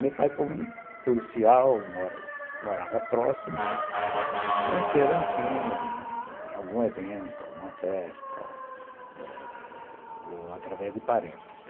Meu pai, como policial, morava morava próximo, e se conheceram em algum evento, alguma festa, eh ou através de parentes.